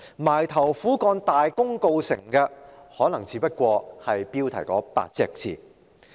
埋頭苦幹而大功告成的，可能只是標題那8個字。